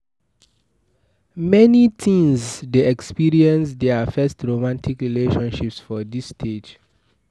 Many teens de experience their first romantic relationship for dis stage